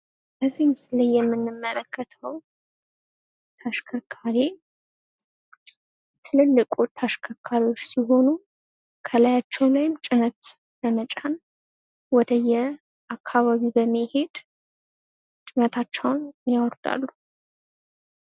በዚህ ምስል ላይ የምንመለከተው ተሽከርካሪ ትልልቅ ተሽከርካሪዎች ሲሆኑ፤ ከላያቸው ላይም ጭነት በመጫን ወደየ አካባቢው በመሄድ ጭነታቸውን ያወርዳሉ።